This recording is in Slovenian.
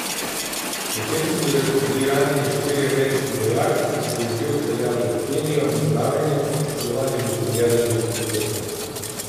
Pri tem so bili ranjeni štirje ameriški vojaki, ki so jih že odpeljali v Kenijo na zdravljenje, poškodovan je bil tudi eden izmed helikopterjev.